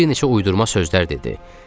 Bir neçə uydurma sözlər dedi.